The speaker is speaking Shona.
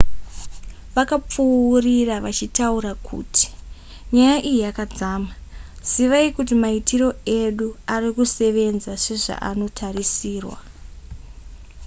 vakapfuurira vachitaura kuti nyaya iyi yakadzama zivai kuti maitiro edu arikusevenza sezvaanotarisirwa